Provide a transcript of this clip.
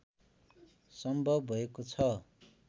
सम्भव भएको छ